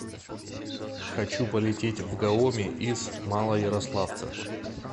хочу полететь в гаоми из малоярославца